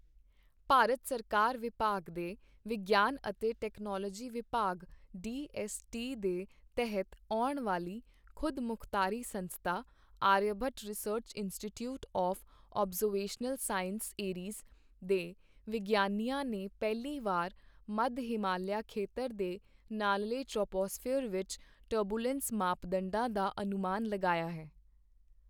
ਭਾਰਤ ਸਰਕਾਰ ਵਿਭਾਗ ਦੇ ਵਿਗਿਆਨ ਅਤੇ ਟੈਕਨੋਲੋਜੀ ਵਿਭਾਗ ਡੀ ਐੱਸ ਟੀ ਦੇ ਤਹਿਤ ਆਉਣ ਵਾਲੀ ਖੁਦਮੁਖਤਾਰੀ ਸੰਸਥਾ Aryabhatta research institute of observational sciences ARIES ਦੇ ਵਿਗਿਆਨੀਆਂ ਨੇ ਪਹਿਲੀ ਵਾਰ ਮੱਧ ਹਿਮਾਲਿਆ ਖੇਤਰ ਦੇ ਨਾਲਲੇ ਟਰੋਪੋਸਫ਼ੀਅਰ ਵਿੱਚ ਟਰਬਿਉਲੈਂਸ ਮਾਪਦੰਡਾਂ ਦਾ ਅਨੁਮਾਨ ਲਗਾਇਆ ਹੈ।